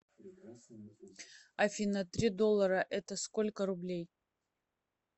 афина три доллара это сколько рублей